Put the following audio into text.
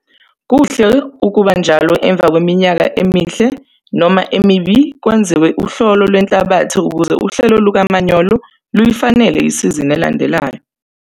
Kuhle ukuba njalo emva kweminyaka emihle noma emibi kwenziwe uhlolo lwenhlabathi ukuze uhlelo lukamanyolo luyifanele isizini elandelayo.